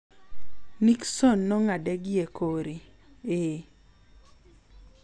Nixon no ng'ade gi ekore: Ee.